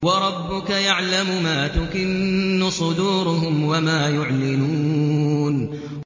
وَرَبُّكَ يَعْلَمُ مَا تُكِنُّ صُدُورُهُمْ وَمَا يُعْلِنُونَ